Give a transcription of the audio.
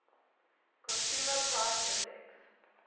consumer price index